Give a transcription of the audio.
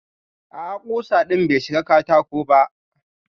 A'a kusa din bai shiga katako ba.